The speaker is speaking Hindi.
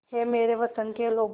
ऐ मेरे वतन के लोगों